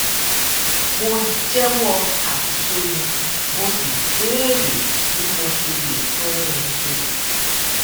mo jéwó àṣìṣe mi mo sì béèrè bí mo ṣe lè tún un ṣe